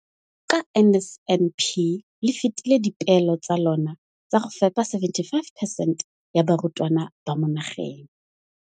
Ka NSNP le fetile dipeelo tsa lona tsa go fepa masome a supa le botlhano a diperesente ya barutwana ba mo nageng.